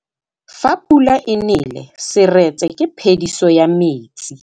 Fa pula e nelê serêtsê ke phêdisô ya metsi.